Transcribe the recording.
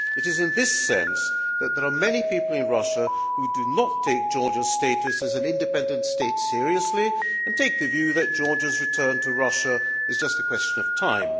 It is in this sense that there are many people in Russia who do not take Georgia's status as an independent state seriously, and take the view that Georgia's return to Russia is just a question of time.